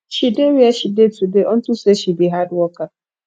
she dey where she dey today unto say she be hard worker